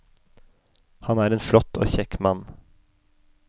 Han er en flott og kjekk mann.